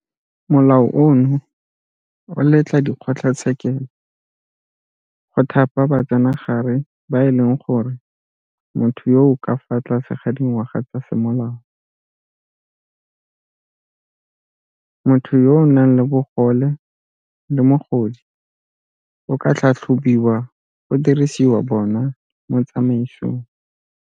Molao ono o letla dikgotlatshekelo go thapa batsenagare ba e leng gore motho yo o ka fa tlase ga dingwaga tsa semolao, motho yo o nang le bogole le mogodi a ka tlhatlhobiwa go dirisiwa bona mo tsamaisong.